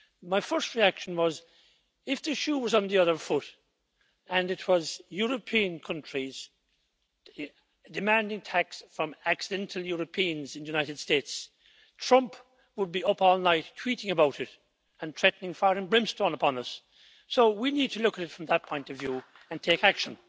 My first reaction was that, if the shoe was on the other foot and it was European countries demanding tax from accidental' Europeans in the United States, President Trump would be up all night tweeting about it and threatening fire and brimstone upon us. We need to look at it from that point of view and take action.